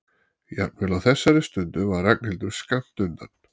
Jafnvel á þessari stundu var Ragnhildur skammt undan.